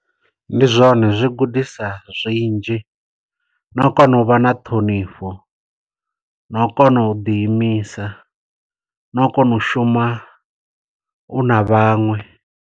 Ndi zwone zwi gudisa zwinzhi, no u kona u vha na ṱhonifho, no u kona u ḓi imisa, no u kona u shuma u na vhaṅwe.